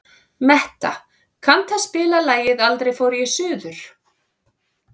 Metta, kanntu að spila lagið „Aldrei fór ég suður“?